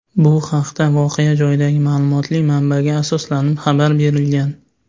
Bu haqda voqea joyidagi ma’lumotli manbaga asoslanib xabar berilgan.